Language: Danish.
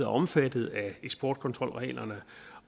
omfattet af eksportkontrolreglerne